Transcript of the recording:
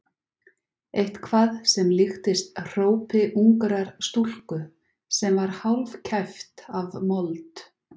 Eitthvað sem líktist hrópi ungrar stúlku sem var hálfkæft af mold.